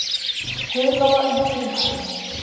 Heiðlóa í Heimaey